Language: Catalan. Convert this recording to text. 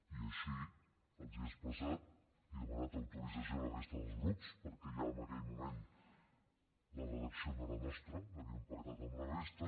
i així els ho he expressat i he demanat autorització a la resta dels grups perquè ja en aquell moment la redacció no era nostra l’havíem pactat amb la resta